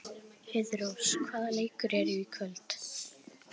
Heiðrós, hvaða leikir eru í kvöld?